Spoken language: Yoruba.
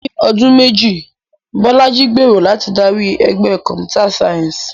Ní ọdún méjì, Bolaji gbèrò láti darí ẹgbẹ́ Computer Science.